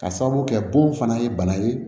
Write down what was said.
Ka sababu kɛ bon fana ye bana ye